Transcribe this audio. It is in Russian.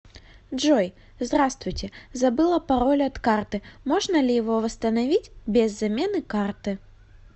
джой здравствуйте забыла пароль от карты можно ли его восстановить без замены карты